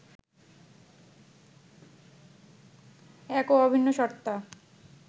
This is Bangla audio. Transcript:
এক ও অভিন্ন সত্তা